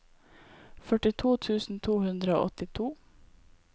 førtito tusen to hundre og åttito